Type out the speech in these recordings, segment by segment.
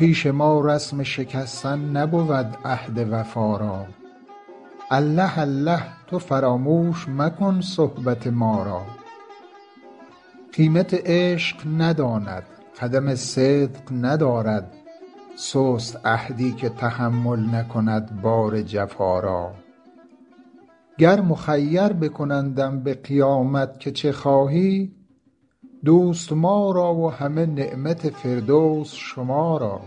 پیش ما رسم شکستن نبود عهد وفا را الله الله تو فراموش مکن صحبت ما را قیمت عشق نداند قدم صدق ندارد سست عهدی که تحمل نکند بار جفا را گر مخیر بکنندم به قیامت که چه خواهی دوست ما را و همه نعمت فردوس شما را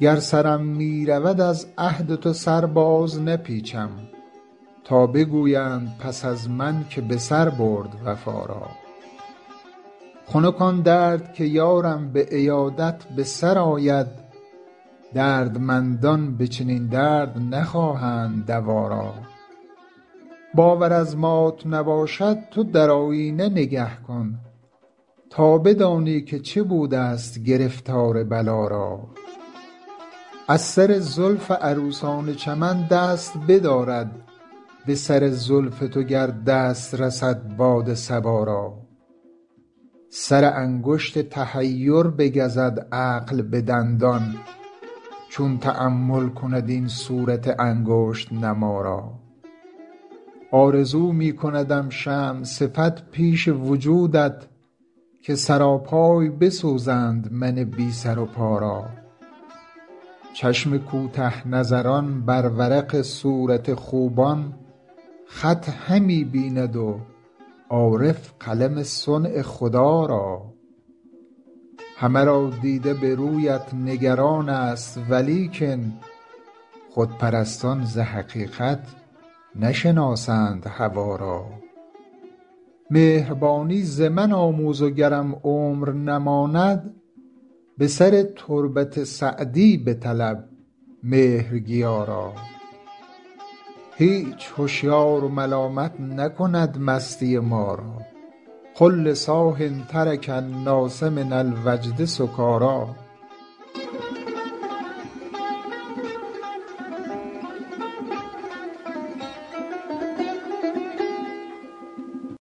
گر سرم می رود از عهد تو سر بازنپیچم تا بگویند پس از من که به سر برد وفا را خنک آن درد که یارم به عیادت به سر آید دردمندان به چنین درد نخواهند دوا را باور از مات نباشد تو در آیینه نگه کن تا بدانی که چه بودست گرفتار بلا را از سر زلف عروسان چمن دست بدارد به سر زلف تو گر دست رسد باد صبا را سر انگشت تحیر بگزد عقل به دندان چون تأمل کند این صورت انگشت نما را آرزو می کندم شمع صفت پیش وجودت که سراپای بسوزند من بی سر و پا را چشم کوته نظران بر ورق صورت خوبان خط همی بیند و عارف قلم صنع خدا را همه را دیده به رویت نگران ست ولیکن خودپرستان ز حقیقت نشناسند هوا را مهربانی ز من آموز و گرم عمر نماند به سر تربت سعدی بطلب مهرگیا را هیچ هشیار ملامت نکند مستی ما را قل لصاح ترک الناس من الوجد سکاریٰ